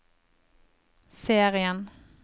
serien